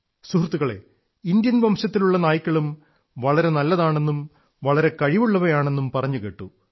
സുഹൃത്തുക്കളേ ഇന്ത്യൻ വംശത്തിലുള്ള നായ്ക്കളും വളരെ നല്ലതാണെന്നും വളരെ കഴിവുള്ളവയാണെന്നും പറഞ്ഞുകേട്ടു